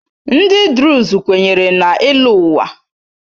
Ndị Druze kwenyere na ịlọ ụwa.